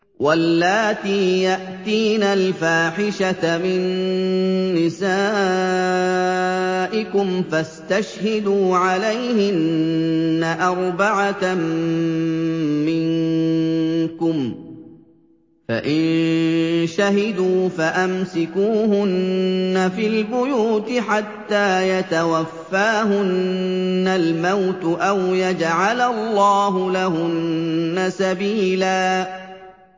وَاللَّاتِي يَأْتِينَ الْفَاحِشَةَ مِن نِّسَائِكُمْ فَاسْتَشْهِدُوا عَلَيْهِنَّ أَرْبَعَةً مِّنكُمْ ۖ فَإِن شَهِدُوا فَأَمْسِكُوهُنَّ فِي الْبُيُوتِ حَتَّىٰ يَتَوَفَّاهُنَّ الْمَوْتُ أَوْ يَجْعَلَ اللَّهُ لَهُنَّ سَبِيلًا